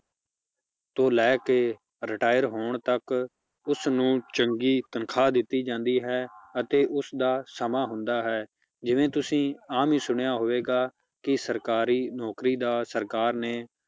ਤੋਂ ਲੈ ਕੇ retire ਹੋਣ ਤੱਕ ਉਸਨੂੰ ਚੰਗੀ ਤਨਖਾਹ ਦਿੱਤੀ ਜਾਂਦੀ ਹੈ, ਅਤੇ ਉਸਦਾ ਸਮਾਂ ਹੁੰਦਾ ਹੈ, ਜਿਵੇਂ ਤੁਸੀਂ ਆਮ ਹੀ ਸੁਣਿਆ ਹੋਵੇਗਾ ਕਿ ਸਰਕਾਰੀ ਨੌਕਰੀ ਦਾ ਸਰਕਾਰ ਨੇ